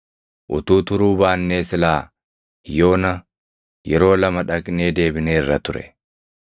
Utuu turuu baannee silaa yoona yeroo lama dhaqnee deebineerra ture.”